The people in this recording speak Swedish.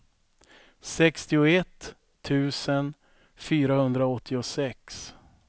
sextioett tusen fyrahundraåttiosex